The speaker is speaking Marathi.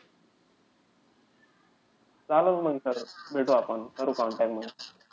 चालेल मंग sir. भेटू आपण, करू contact मंग.